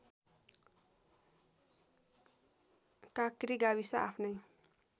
काँक्री गाविस आफ्नै